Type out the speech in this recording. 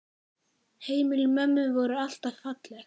Heimili mömmu voru alltaf falleg.